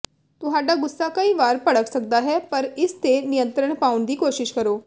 ਤੁਹਾਡਾ ਗੁੱਸਾ ਕਈ ਵਾਰ ਭੜਕ ਸਕਦਾ ਹੈ ਪਰ ਇਸ ਤੇ ਨਿਯੰਤਰਣ ਪਾਉਣ ਦੀ ਕੋਸ਼ਿਸ਼ ਕਰੋ